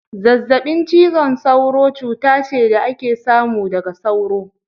Zazzabin cizon sauro cuta ce da ake samu daga sauro.